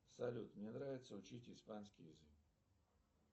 салют мне нравится учить испанский язык